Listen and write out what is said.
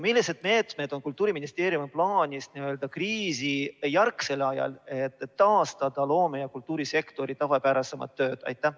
Millised meetmed on Kultuuriministeeriumil plaanis kriisijärgsel ajal, et taastada loome‑ ja kultuurisektori tavapärasem töö?